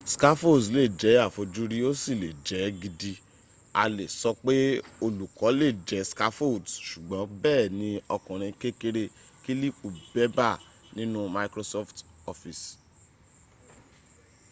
scaffolds lè jẹ́ àfojúrí ó sì lè jẹ́ gidi a lè sọ pé olùkọ lè jẹ́ scaffolds ṣùgbọ́n bẹ́ẹ̀ ni ọkùrin kékeré kílípù bébà nínu microsoft office